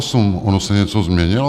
Ono se něco změnilo?